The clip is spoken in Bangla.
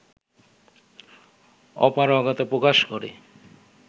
অপারগতা প্রকাশ করে